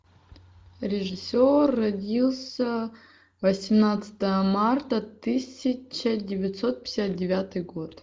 режиссер родился восемнадцатого марта тысяча девятьсот пятьдесят девятый год